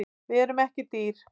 Við erum ekki dýr